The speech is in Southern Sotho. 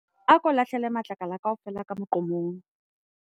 ako lahlele matlakala kaofela ka moqomong